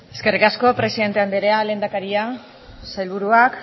eskerrik asko presidente anderea lehendakaria sailburuak